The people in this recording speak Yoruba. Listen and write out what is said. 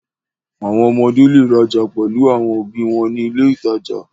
Àwọn ọmọdé le rajà pẹ̀lú àwọn òbí wọn ní ilé-ìtajà.